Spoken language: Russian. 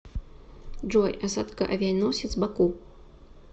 джой осадка авианосец баку